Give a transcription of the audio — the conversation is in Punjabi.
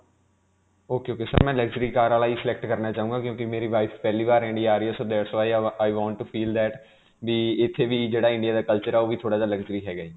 ok ok sir. ਮੈਂ luxury car ਵਾਲਾ ਹੀ select ਕਰਨਾ ਚਾਹੂੰਗਾ ਕਿਉਂਕਿ ਮੇਰੀ wife ਪਹਿਲੀ ਵਾਰ India ਆ ਰਹੀ ਹੈ, so that is why i ਵਵ i want to feel that ਕਿ ਇਥੇ ਵੀ ਜਿਹੜਾ India ਦਾ culture ਹੈ ਉਹ ਵੀ ਥੋੜਾ ਜਿਹਾ luxury ਹੈ ਜੀ.